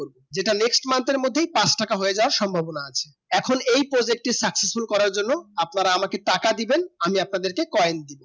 যেটা next month এর মধ্যে পাঁচ টাকা হয়ে যাবার সম্ভবনা আছে এখন এই project এর সবকিছু করার জন্য আমাকে টাকা দিবেন আমি আপনাদিকে coin দিবো